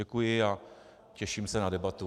Děkuji a těším se na debatu.